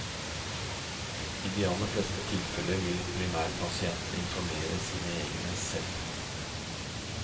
I de aller fleste tilfeller vil primærpasienten informere sine egne selv.